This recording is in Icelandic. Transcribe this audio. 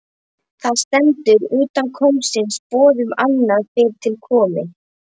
Þar stendur: utan kóngsins boð annað fyrr til komi.